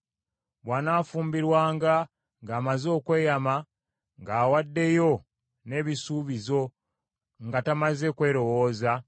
“Bw’anaafumbirwanga ng’amaze okweyama ng’awaddeyo n’ebisuubizo nga tamaze kwerowooza,